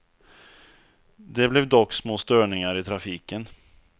Det blev dock små störningar i trafiken.